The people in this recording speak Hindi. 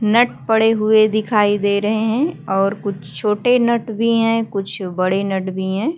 नट पड़े हुए दिखाई दे रहे हैं और कुछ छोटे नट भी हैं कुछ बड़े नट हैं।